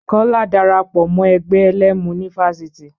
Kọ́lá dara pọ̀ mọ́ ẹgbẹ́ ẹlẹ́mu ní fáfitì.